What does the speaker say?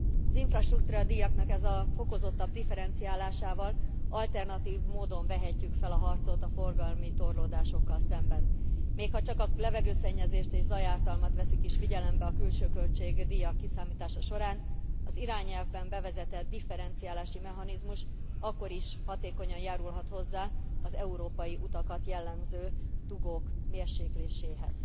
Az infrastruktúradíjaknak ezzel a fokozottabb differenciálásával alternatív módon vehetjük fel a harcot a forgalmi torlódásokkal szemben, még ha csak a levegőszennyezést és zajártalmat veszik is figyelembe a külső költségdíjak kiszámítása során, az irányelvben bevezetett differenciálási mechanizmus akkor is hatékonyan járulhat hozzá az európai utakat jellemző dugók mérsékléséhez.